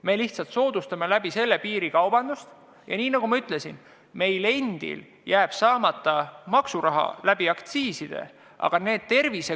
Me lihtsalt soodustaksime sellega piirikaubandust ja nagu ma ütlesin, meil endil jääb aktsiisist laekuv maksuraha saamata.